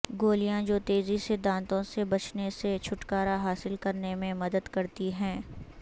گولیاں جو تیزی سے دانتوں سے بچنے سے چھٹکارا حاصل کرنے میں مدد کرتی ہیں